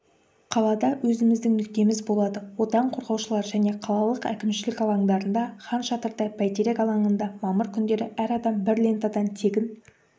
қалада өзіміздің нүктеміз болады отан қорғаушылар және қалалық әкімшілік алаңдарында хан шатырда бәйтерек алаңында мамыр күндері әр адам бір лентадан тегін